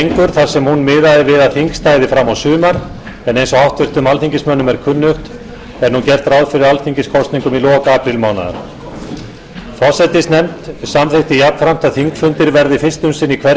þar sem hún miðaði við að þing stæði fram á sumar en eins og háttvirtum alþingismönnum er kunnugt er nú gert ráð fyrir alþingiskosningum í lok aprílmánaðar forsætisnefnd samþykkti jafnframt að þingfundir verði fyrst um sinn í hverri